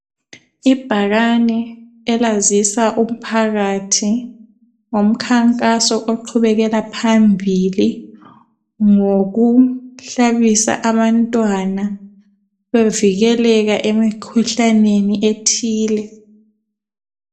Ibhakane elazisa umphakathi ngomkhankaso oqhubekela phambili ngokuhlabisa abantwana bevikeleka emkhuhlaneni ethile.